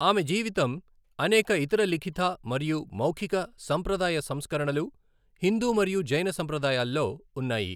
ఆమె జీవితం అనేక ఇతర లిఖిత మరియు మౌఖిక సంప్రదాయ సంస్కరణలు హిందూ మరియు జైన సంప్రదాయాల్లో ఉన్నాయి.